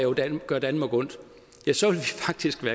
gøre danmark ondt